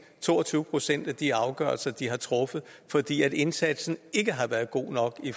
to og tyve procent af de afgørelser de har truffet fordi indsatsen ikke har været god nok i